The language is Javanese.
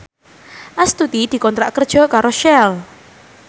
Astuti dikontrak kerja karo Shell